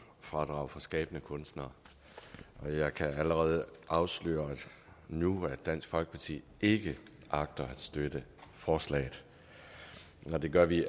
fradrag for skabende kunstnere jeg kan allerede afsløre nu at dansk folkeparti ikke agter at støtte forslaget og det gør vi